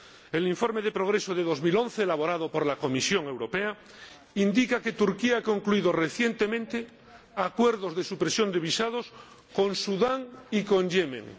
El informe de situación de 2011, elaborado por la Comisión Europea, indica que Turquía ha concluido recientemente acuerdos de supresión de visados con Sudán y con Yemen.